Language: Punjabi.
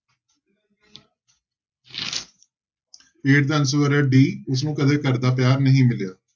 Eighth ਦਾ answer ਹੈ d ਜਿਸਨੂੰ ਕਦੇ ਘਰਦਾ ਪਿਆਰ ਨਹੀਂ ਮਿਲਿਆ।